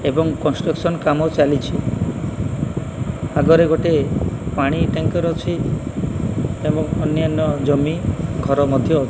ଏବଂ କନ୍ସ୍ତୁକ୍ସନ କାମ ଚାଲିଛି ଆଗରେ ଗୋଟେ ପାଣି ଟ୍ୟାଙ୍କର ଅଛି ଏବଂ ଅନନ୍ୟ ଜମି ଘର ମଧ୍ୟ ଅଛି।